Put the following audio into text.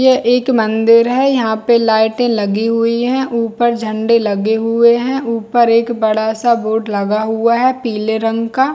यह एक मंदिर है यहाँ पे लाइटे लगी हुई है ऊपर झंडे लगे हुए है ऊपर एक बड़ा- सा बोर्ड लगा हुआ है पिले रंग का--